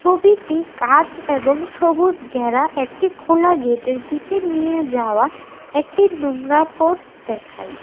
ছবিটি গাছ এবং সবুজ ঘেরা একটি খোলা গেটের দিকে নিয়ে যাওয়া একটি নোংরা পথ দেখায়।